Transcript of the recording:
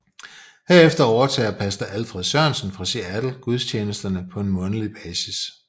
Herefter overtager Pastor Alfred Sørensen fra Seattle gudstjenesterne på en månedlig basis